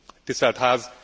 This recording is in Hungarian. Tisztelt Ház!